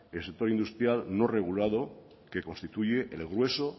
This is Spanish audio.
el sector industrial no regulado que constituye el grueso